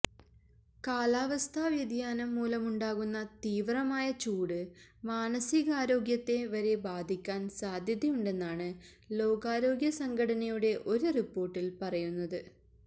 കാലാവസ്ഥാ വ്യതിയാനം മൂലമുണ്ടാകുന്ന തീവ്രമായ ചൂട് മാനസികാരോഗ്യത്തെ വരെ ബാധിക്കാന് സാധ്യതയുണ്ടെന്നാണു ലോകാരോഗ്യ സംഘടനയുടെ ഒരു റിപ്പോര്ട്ടില് പറയുന്നത്